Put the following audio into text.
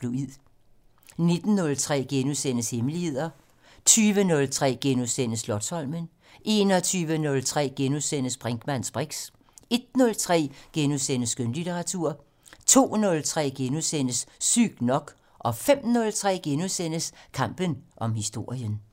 19:03: Hemmeligheder * 20:03: Slotsholmen * 21:03: Brinkmanns briks * 01:03: Skønlitteratur * 02:03: Sygt nok * 05:03: Kampen om historien *